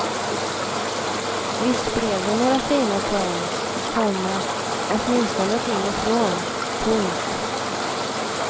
Visst blev det några fina poäng, komma åtminstone till och från. punkt